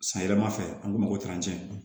San yɛrɛma fɛ an k'o ma ko